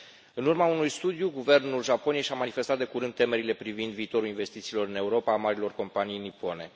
În urma unui studiu, guvernul Japoniei și a manifestat de curând temerile privind viitorul investițiilor în Europa ale marilor companii nipone.